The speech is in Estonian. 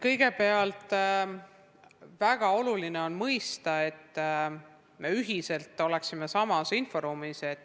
Kõigepealt, väga oluline on mõista, et me kõik oleksime samas inforuumis.